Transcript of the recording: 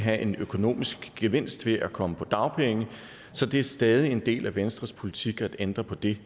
have en økonomisk gevinst ved at komme på dagpenge så det er stadig en del af venstres politik at ændre på det